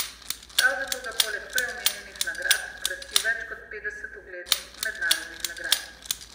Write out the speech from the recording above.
Prav zato ga poleg prej omenjenih nagrad krasi več kot petdeset uglednih mednarodnih nagrad.